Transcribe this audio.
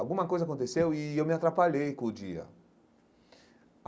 Alguma coisa aconteceu e eu me atrapalhei com o dia.